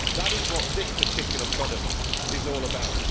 That is what this particular product is all about.